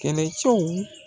Kɛlɛɛcɛw